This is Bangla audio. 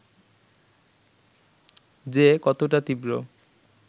যে কতটা তীব্র